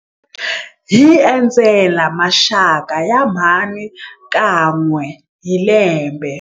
Hi endzela maxaka ya mhani kan'we hi lembe.